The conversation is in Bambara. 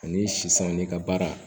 Ani sisan n'i ka baara